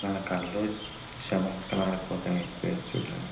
నా కళ్ళు చమత్కారానికి పోతాయి ఈ ప్లేస్ చూడడానికి.